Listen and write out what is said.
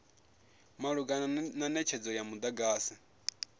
malugana na netshedzo ya mudagasi